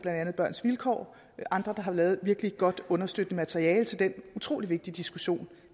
andet børns vilkår og andre der har lavet et virkelig godt understøttende materiale til den utrolig vigtige diskussion